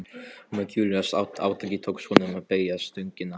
og með gífurlegu átaki tókst honum að beygja stöngina.